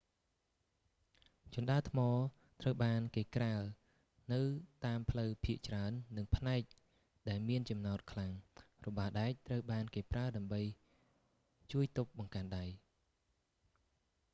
ជណ្ដើរថ្ម ត្រូវបានគេក្រាលនៅតាមផ្លូវភាគច្រើន និងផ្នែកដែលមានចំណោទខ្លាំង របាដែកត្រូវបានគេប្រើដើម្បីជួបទប់បង្កាន់ដែ